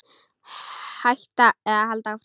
Hætta eða halda áfram?